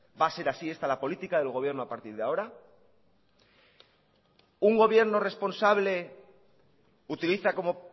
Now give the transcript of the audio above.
va a ser así esta la política del gobierno a partir de ahora un gobierno responsable utiliza como